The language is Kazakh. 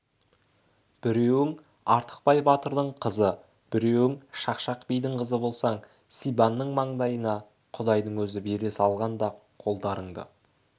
біреуің артықбай батырдың қызы біреуің шақшақ бидің қызы болсаң сибанның маңдайына құдайдың өзі бере салғаны да қолдарыңды